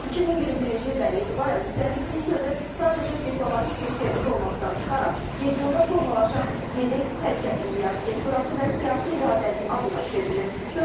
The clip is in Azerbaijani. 2021-ci ildən etibarən müttəfiqlik sözü sadəcə diplomatik bir termin olmaqdan çıxaraq, regionda formalaşan yeni təhlükəsizlik arxitekturası və siyasi iradənin adına çevrilib.